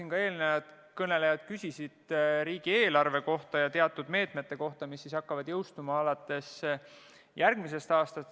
Nagu ka täna siin, küsisid komisjoni liikmed riigieelarve kohta ja teatud meetmete kohta, mis jõustuvad alates järgmisest aastast.